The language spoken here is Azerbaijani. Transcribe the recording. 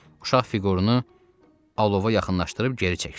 Uşaq fiqurunu alova yaxınlaşdırıb geri çəkdim.